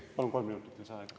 Palun kolm minutit lisaaega.